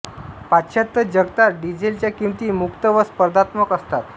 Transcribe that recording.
पाश्चात्य जगतात डिझेलच्या किंमती मुक्त व स्पर्धात्मक असतात